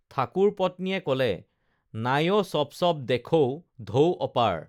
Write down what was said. ঠাকুৰ পত্নীয়ে কলে নাঞ চপচপ দেখৌ ঢৌ অপাৰ